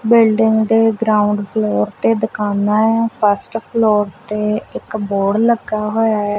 Building ਦੇ ground floor ਤੇ ਦੁਕਾਨਾਂ ਐ ਫਸਟ ਫਲੋਰ ਤੇ ਇੱਕ ਬੋਰਡ ਲੱਗਾ ਹੋਇਆ ਐ।